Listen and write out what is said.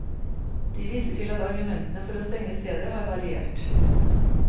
De viser til at argumentene for å stenge stedet har variert.